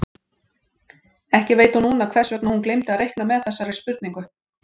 Ekki veit hún núna hvers vegna hún gleymdi að reikna með þessari spurningu.